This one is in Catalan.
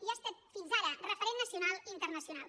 i ha estat fins ara referent nacional i internacional